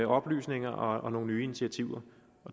oplysninger og nogle nye initiativer